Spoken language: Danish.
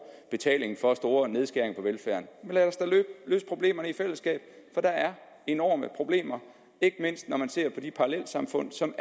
betaling for store nedskæringer på velfærden men lad os da løse problemerne i fællesskab for der er enorme problemer ikke mindst når man ser på de parallelsamfund som